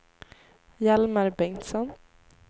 Hjalmar Bengtsson